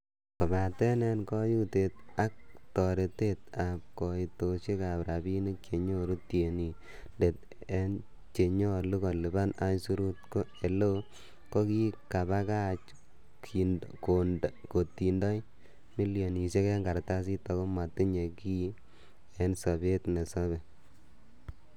Kobaten en koyutet ak tortaetab koitosiekab rabinik chenyoru tienindet en che nyolu kolipanen aisurut, ko eleo kokikebakach kotindoi milionisiek en kartasit ago motinye kiy en sobet nesobe.